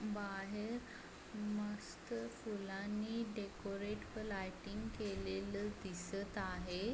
बाहेर मस्त फुलांनी डेकोरेट लायटिंग केलेल दिसत आहे.